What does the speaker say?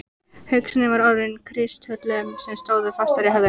Hugsunin var orðin að kristöllum sem stóðu fastir í höfðinu.